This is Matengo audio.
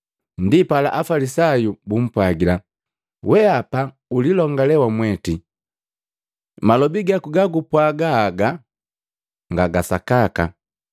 Ndipala Afalisayu bumpwajila, “Weapa ulilongale wamweti, malobi gaku ga gupwaga haga nga ga sakaka.”